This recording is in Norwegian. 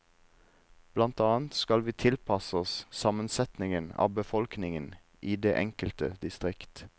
Blant annet skal vi tilpasse oss sammensetningen av befolkningen i det enkelte distrikt.